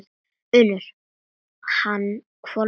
UNNUR: Hann hvolfir úr skónum.